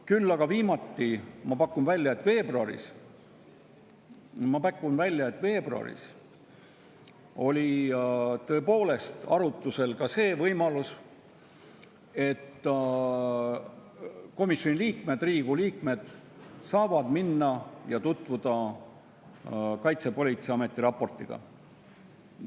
Küll aga viimati, ma pakun välja, veebruaris oli arutlusel ka see võimalus, et komisjoni liikmed, Riigikogu liikmed saavad tutvuda Kaitsepolitseiameti raportiga.